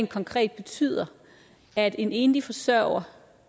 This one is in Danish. konkret betyder at en enlig forsørger